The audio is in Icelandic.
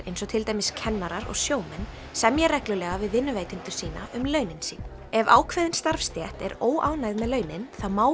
eins og til dæmis kennarar og sjómenn semja reglulega við vinnuveitendur sína um launin sín ef ákveðin starfstétt er óánægð með launin þá má